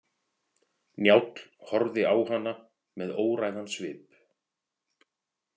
Njáll horfði á hana með óræðan svip.